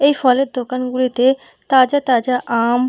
এই ফলের দোকানগুলিতে তাজা তাজা আম।